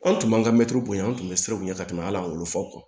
Anw tun b'an ka mɛtiri bonya an tun bɛ siran u ɲɛ ka tɛmɛ ala wolo fo aw kan